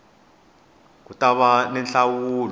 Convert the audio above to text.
ku ta va ni nhlawulo